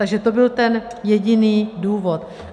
Takže to byl ten jediný důvod.